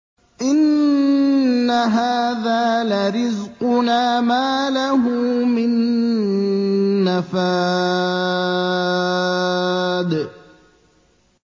إِنَّ هَٰذَا لَرِزْقُنَا مَا لَهُ مِن نَّفَادٍ